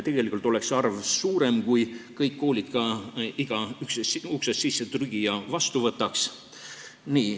Tegelikult oleks see arv suurem, kui kõik koolid iga uksest sissetrügija vastu võtaks.